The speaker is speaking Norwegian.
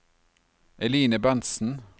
Eline Berntzen